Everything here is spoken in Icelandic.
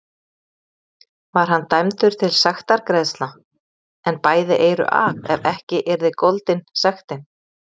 Var hann dæmdur til sektargreiðslna, en bæði eyru af ef ekki yrði goldin sektin.